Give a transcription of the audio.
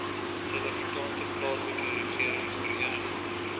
suidafrikaanse plaaslike regeringsvereniging